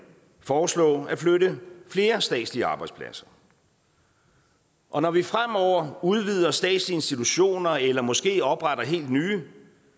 foreslå at flytte flere statslige arbejdspladser og når vi fremover udvider statslige institutioner eller måske opretter helt nye